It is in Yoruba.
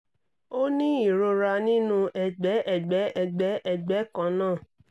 ó ní ìrora nínú ẹ̀gbẹ́ ẹ̀gbẹ́ ẹ̀gbẹ́ ẹ̀gbẹ́ kan náà